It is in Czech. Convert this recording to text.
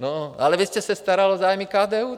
No ale vy jste se staral o zájmy KDU.